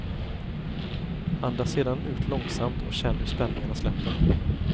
Andas sedan ut långsamt och känn hur spänningarna släpper.